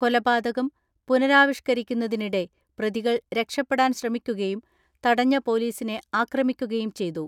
കൊലപാതകം പുനരാവിഷ് കരിക്കുന്നതിനിടെ പ്രതികൾ രക്ഷപ്പെടാൻ ശ്രമിക്കുകയും തടഞ്ഞ പൊലീസിനെ ആക്രമിക്കുകയും ചെയ്തു.